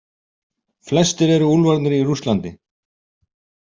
Flestir eru úlfarnir í Rússlandi.